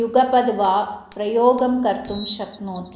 युगपद् वा प्रयोगं कर्तुं शक्नोति